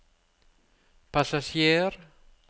passasjer